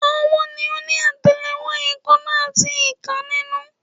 Ọwọ́ ni ó ní àtẹlẹwọ́, èèkánná, àti ìka nínú